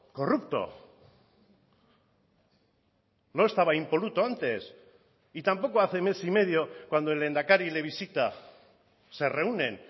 corrupto no estaba impoluto antes y tampoco hace mes y medio cuando el lehendakari le visita se reúnen